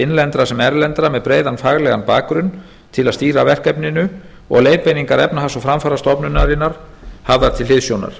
innlendra sem erlendra með breiðan faglegan bakgrunn til að stýra verkefninu og leiðbeiningar efnahags og framfarastofnunarinnar hafðar til hliðsjónar